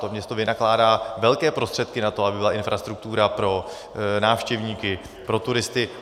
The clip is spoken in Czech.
To město vynakládá velké prostředky na to, aby byla infrastruktura pro návštěvníky, pro turisty.